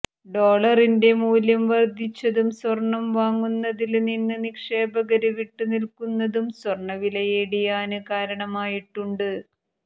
ഡോളറിന്റെ മൂല്യം വര്ദ്ധിച്ചതും സ്വര്ണം വാങ്ങുന്നതില് നിന്ന് നിക്ഷേപകര് വിട്ടുനില്ക്കുന്നതും സ്വര്ണവില ഇടിയാന് കാരണമായിട്ടുണ്ട്